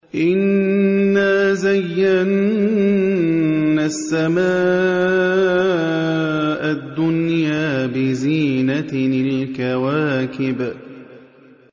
إِنَّا زَيَّنَّا السَّمَاءَ الدُّنْيَا بِزِينَةٍ الْكَوَاكِبِ